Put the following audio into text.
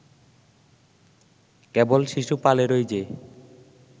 কেবল শিশুপালেরই যে